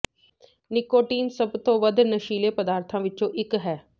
nicotine ਸਭ ਤੋਂ ਵੱਧ ਨਸ਼ੀਲੇ ਪਦਾਰਥਾਂ ਵਿੱਚੋਂ ਇੱਕ ਹੈ